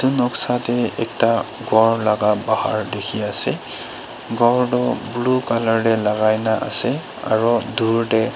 etu noksa tu ekta ghor laka bahar diki ase ghor tu blue color de lagai na ase aro duur de.